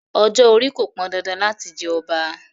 Ọjọ́-orí kò pọn dandan láti jẹ ọba.